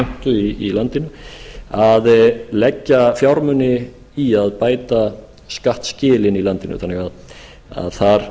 skattheimtu í landinu að leggja fjármuni í að bæta skattskilin í landinu þannig að þar